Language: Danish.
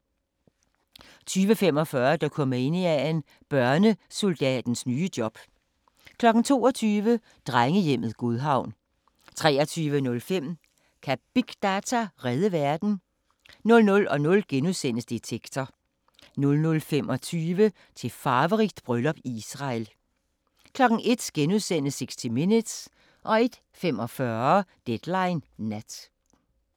20:45: Dokumania: Børnesoldatens nye job 22:00: Drengehjemmet Godhavn 23:05: Kan big data redde verden? 00:00: Detektor * 00:25: Til farverigt bryllup i Israel 01:00: 60 Minutes * 01:45: Deadline Nat